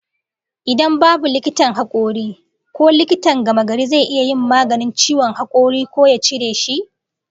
Idan babu likitan hakuri, ko likitan gamagari zai iya yin maganin ciwon hakori ko ya cire shi?